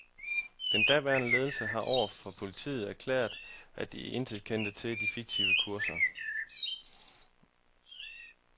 Den daværende ledelse har over for politiet erklæret, at man intet kendte til de fiktive kurser.